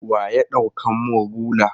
Wa ya ɗaukan mun rula?